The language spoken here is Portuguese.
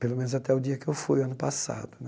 Pelo menos até o dia que eu fui, ano passado né.